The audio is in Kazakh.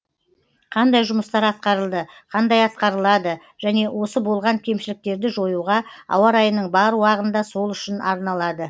қандай жұмыстар атқарылды қандай атқарылады және осы болған кемшіліктерді жоюға ауа райының бар уағында сол үшін арналады